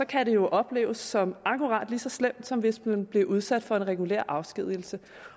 kan det jo opleves som akkurat lige så slemt som hvis man bliver udsat for en regulær afskedigelse